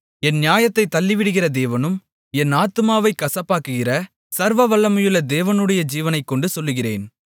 என் நியாயத்தைத் தள்ளிவிடுகிற தேவனும் என் ஆத்துமாவைக் கசப்பாக்குகிற சர்வவல்லமையுள்ள தேவனுடைய ஜீவனைக்கொண்டு சொல்லுகிறேன்